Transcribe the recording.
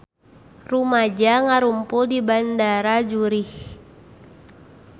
Rumaja ngarumpul di Bandara Zurich